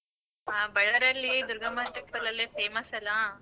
ಹ ಬಳ್ಳಾರಿಯಲ್ಲಿ ದುರ್ಗಮ್ಮ temple ಅಲ್ಲೇ famous ಅಲ್ಲ.